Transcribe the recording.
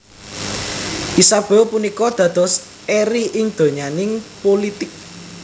Isabeau punika dados eri ing donyaning pulitik